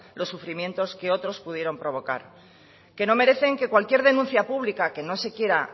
los sufrimientos que otros pudieron provocar que no merecen que cualquier denuncia pública que no se quiera